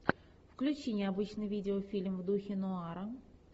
включи необычный видеофильм в духе нуара